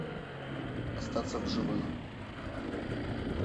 остаться в живых